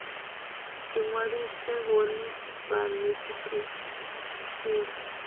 ḓi ṅwalise vhone vhaṋe tshiṱitshini